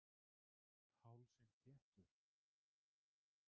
Hálsinn þéttur.